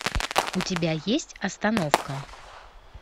у тебя есть остановка